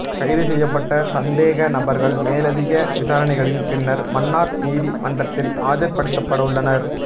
கைது செய்யப்பட்ட சாந்தேக நபர்கள் மேலதிக விசாரணைகளின் பின்னர் மன்னார் நீதி மன்றத்தில் ஆஜர் படுத்தப்படவுள்ளனர்